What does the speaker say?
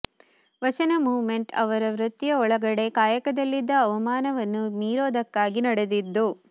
ವಚನ ಮೂಮೆಂಟ್ ಅವರ ವೃತ್ತಿಯ ಒಳಗಡೆ ಕಾಯಕದಲ್ಲಿದ್ದ ಅವಮಾನವನ್ನ ಮೀರೋದಕ್ಕಾಗಿ ನಡೆದದ್ದು